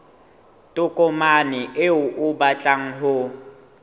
tokomane eo o batlang ho